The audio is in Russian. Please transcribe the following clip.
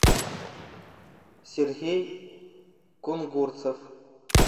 сергей кунгурцев